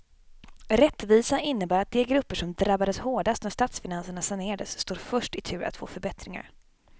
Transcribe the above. Rättvisa innebär att de grupper som drabbades hårdast när statsfinanserna sanerades står först i tur att få förbättringar.